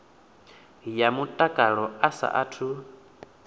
ya mutakalo a sa athu